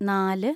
നാല്